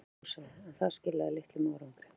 Selfossi, en það skilaði litlum árangri.